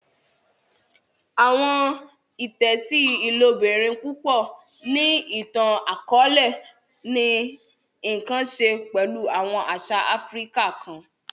Awọn itẹsi ilobirin pupọ ni itan-akọọlẹ ni nkan ṣe pẹlu awọn aṣa Áfíríkà kàn.